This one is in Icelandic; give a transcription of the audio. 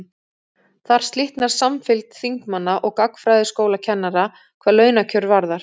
Þar slitnar samfylgd þingmanna og gagnfræðaskólakennara hvað launakjör varðar.